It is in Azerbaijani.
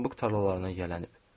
Pambıq tarlalarına yiyələnib.